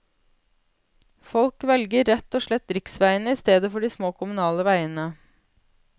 Folk velger rett og slett riksveiene i stedet for de små kommunale veiene.